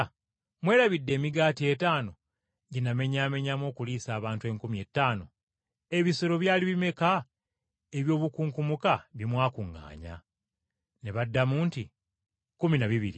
Mwerabidde emigaati etaano gye namenyamenyamu okuliisa abantu enkumi ettaano? Ebisero byali bimeka eby’obukunkumuka bye mwakuŋŋaanya?” Ne baddamu nti, “Kkumi na bibiri.”